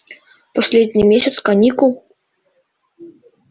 последний месяц каникул